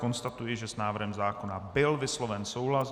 Konstatuji, že s návrhem zákona byl vysloven souhlas.